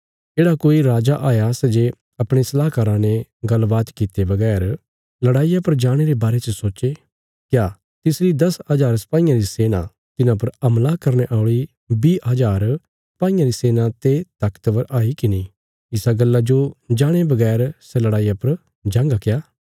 येढ़ा कोई राजा हाया सै जे अपणे सलाहकाराँ ने गल्ल बात कित्ते बगैर लड़ाईया पर जाणे रे बारे च सोचे क्या तिसरी दस हजार सपाईयां री सेना तिन्हां पर हमला करने औल़ी बीह हजार सपाईयां री सेना ते ताकतवर हाई की नीं इसा गल्ला जो जाणे बगैर सै लड़ाईया पर जांगा क्या